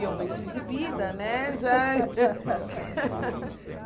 E eu muito exibida, né, já